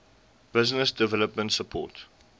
business development support